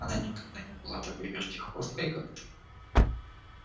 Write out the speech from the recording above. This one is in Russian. она никогда не была такой вертихвосткой как ты